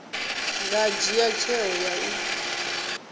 nga dzhia tsheo ya u